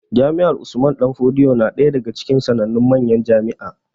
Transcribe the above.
Jami'ar Usman danfodiyo na ɗaya daga cikin sanannun manyan jami'a